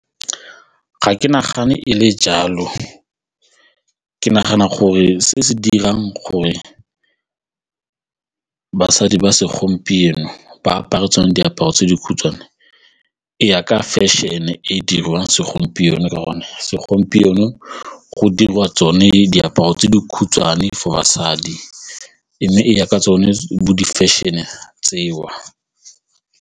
Ga ke nagane e le jalo, ke nagana gore se se dirang gore basadi ba segompieno ba apare tsone diaparo tse dikhutshwane e ya ka fashion-e e dirwang segompieno ka gonne segompieno go dirwa tsone diaparo tse di khutshwane for basadi mme e ya ka tsone bo di-fashion-e tseo.